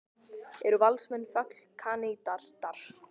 Eru Valsmenn fallkandídatar?